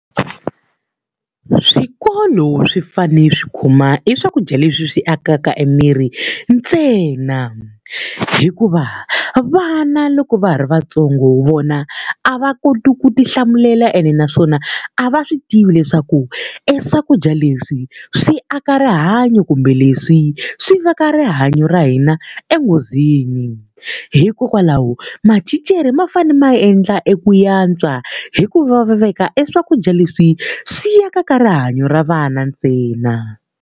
Swikolo swi fanele swi khoma eswakudya leswi swi akaka emirini ntsena hikuva vana loko va ha ri vantsongo vona a va koti ku tihlamulela ene naswona a va swi tivi leswaku eswakudya leswi swi aka rihanyo kumbe leswi swi veka rihanyo ra hina enghozini hikokwalaho mathicara ma fanele ma endla eku ya antswa hi ku va veka eswakudya leswi swi akaka rihanyo ra vana ntsena.